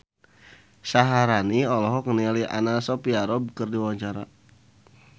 Syaharani olohok ningali Anna Sophia Robb keur diwawancara